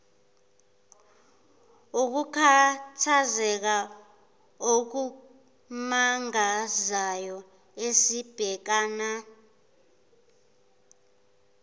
ukukhathazeka okumangazayo esibhekana